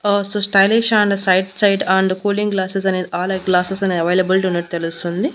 ఆ so stylish and sight side and cooling glasses అనేది all or glasses అనేది availability ఉన్నట్టు తెలుస్తుంది.